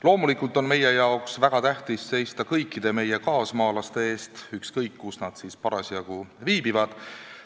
Loomulikult on meie jaoks väga tähtis seista kõikide kaasmaalaste eest, ükskõik, kus nad siis parasjagu viibivad.